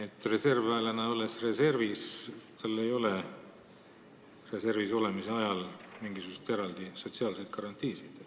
Kui reservväelane on reservis, siis tal ei ole reservis olemise ajal mingisuguseid eraldi sotsiaalseid garantiisid.